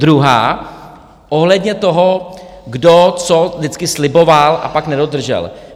Druhá ohledně toho, kdo co vždycky sliboval a pak nedodržel.